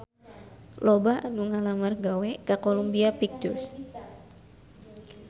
Loba anu ngalamar gawe ka Columbia Pictures